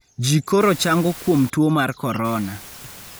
Ji koro chango kuom tuo mar corona.